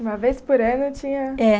Uma vez por ano tinha. É